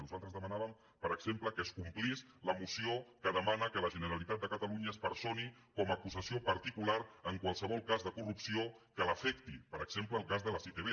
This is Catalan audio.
nosaltres demanàvem per exemple que es complís la moció que demana que la generalitat de catalunya es personi com a acusació particular en qualsevol cas de corrupció que l’afecti per exemple el cas de les itv